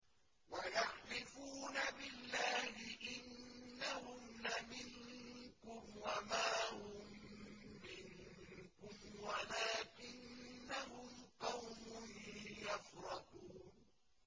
وَيَحْلِفُونَ بِاللَّهِ إِنَّهُمْ لَمِنكُمْ وَمَا هُم مِّنكُمْ وَلَٰكِنَّهُمْ قَوْمٌ يَفْرَقُونَ